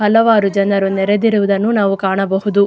ಹಲವಾರು ಜನರು ನೆರೆದಿರುವುದನ್ನು ನಾವು ಕಾಣಬಹುದು.